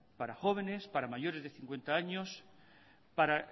para jóvenes para mayores de cincuenta años para